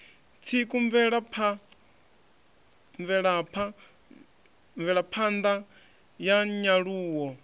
tsiku mvelapha ṋda ya nyaluwo